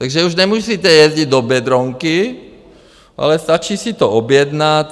Takže už nemusíte jezdit do Biedronky, ale stačí si to objednat.